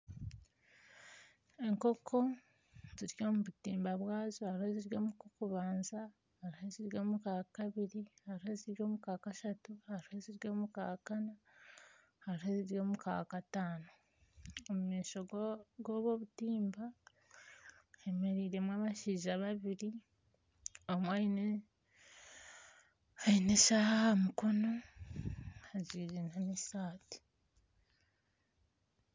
Enkoko ziri omu butimba bwazo hariho eziri omu kokubanza, hariho eziri omu kakabiri, hariho eziri omu kakashatu hariho eziri omu ka kana hariho eziri omu kakatano. Omu maisho ga g'obu obutimba, hemereiremu abashaija babiri. Omwe aine aine eshaaha aha mukono, ajwaire n'esaati.